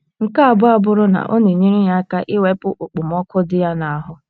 Nke abụọ abụrụ na ọ na - enyere ya aka iwepụ okpomọkụ dị ya n’ahụ́.